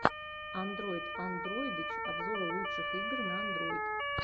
андройд андройдыч обзоры лучших игр на андройд